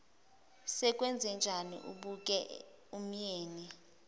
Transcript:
sekwenzenjani abuke umyeni